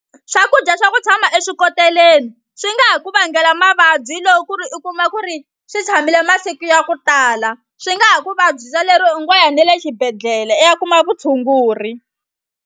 Swakudya swa ku tshama eswikoteleni swi nga ha ku vangela mavabyi loko ku ri u kuma ku ri swi tshamile masiku ya ku tala swi nga ha ku vabyisa lero u ngo ya ne le xibedhlele i ya kuma vutshunguri.